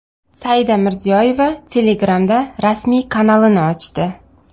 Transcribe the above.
Saida Mirziyoyeva Telegram’da rasmiy kanalini ochdi.